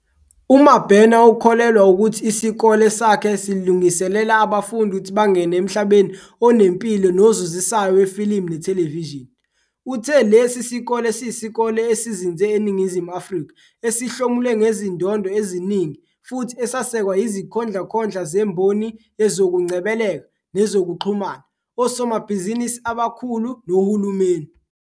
UMabena ukholelwa ukuthi isikole sakhe silungiselela abafundi ukuthi bangene emhlabeni onempilo nozuzisayo wefilimu nethelevishini. Uthe lesi sikole siyisikole esizinze eNingizimu Afrika esihlomule ngezindondo eziningi futhi esesekwa yizikhondlakhondla zemboni yezokungcebeleka nezokuxhumana, osomabhizinisi abakhulu nohulumeni.